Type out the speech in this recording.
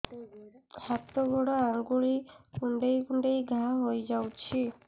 ହାତ ଗୋଡ଼ ଆଂଗୁଳି କୁଂଡେଇ କୁଂଡେଇ ଘାଆ ହୋଇଯାଉଛି